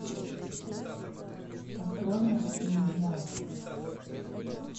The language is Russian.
открой морские дьяволы